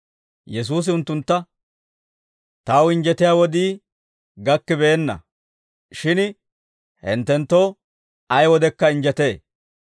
Yesuusi unttuntta, «Taw injjetiyaa wodii gakkibeenna; shin hinttenttoo ay wodekka injjetee.